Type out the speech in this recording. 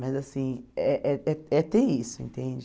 Mas, assim, eh é ter isso, entende?